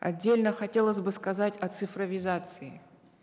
отдельно хотелось бы сказать о цифровизации